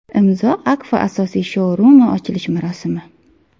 Imzo Akfa asosiy shou-rumi ochilish marosimi.